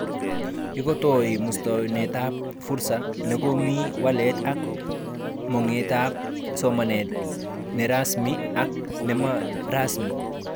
Ikotoi muswonotet fursa nekonu walet ak mogetab somanet nerasmi ak nemarasmi